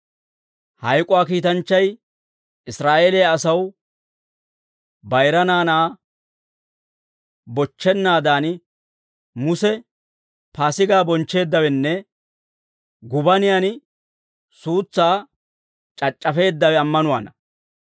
Hayk'uwaa kiitanchchay Israa'eeliyaa asaw bayira naanaa bochchennaadan, Muse Paasigaa bonchcheeddawenne gubaniyan suutsaa c'ac'c'afisseeddawe ammanuwaana.